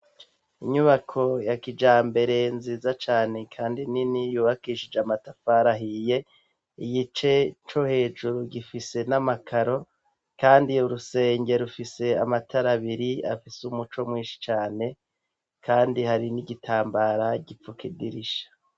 Inyubako ya kija mbere nziza cane, kandi nini yubakishije amatafara ahiye igice co hejuru gifise n'amakaro, kandi iyo urusengerufise amatarabiri afise umuco mwinshi cane, kandi hari n'igitambara gipfu kidirisha.